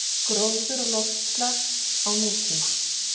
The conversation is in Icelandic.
Gróður og loftslag á nútíma